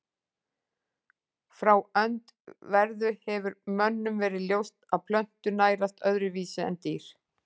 Frá öndverðu hefur mönnum verið ljóst að plöntur nærast öðruvísi en dýr.